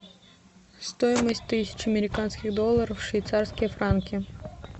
стоимость тысячи американских долларов в швейцарские франки